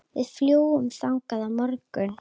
Við fljúgum þangað á morgun.